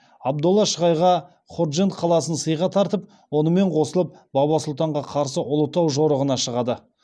абдолла шығайға ходжент қаласын сыйға тартып онымен қосылып баба сұлтанға қарсы ұлытау жорығына шығады